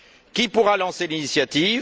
Qui pourra lancer l'initiative?